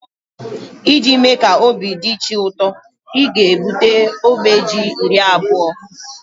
iji mee ka obi dị chi ụtọ, ị ga-ebute ogbe Ji iri abụọ